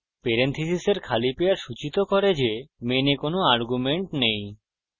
পেরেনথীসীসের খালি পেয়ার সূচিত করে the main কোনো arguments নেই